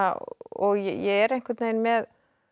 og ég er einhvern veginn með